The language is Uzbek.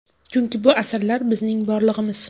Chunki bu asarlar bizning borlig‘imiz.